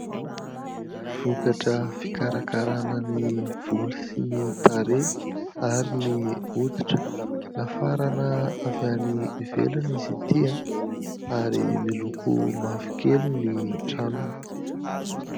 Vokatra fikarakarana ny volo sy ny tarehy ary ny hoditra. Nafarana avy any ivelany izy ity ary miloko mavokely ny tranony.